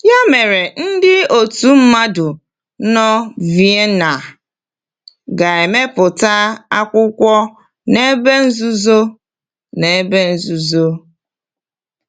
Ya mere, ndị otu mmadụ nọ Vienna ga-emepụta akwụkwọ n’ebe nzuzo. n’ebe nzuzo.